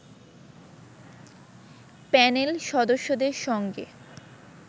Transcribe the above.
panel সদস্যদের সঙ্গে